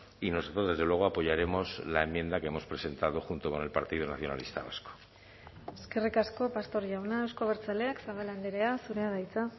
y nosotros desde luego apoyaremos la enmienda que hemos presentado junto con el partido nacionalista vasco eskerrik asko pastor jauna euzko abertzaleak zabala andrea zurea da hitza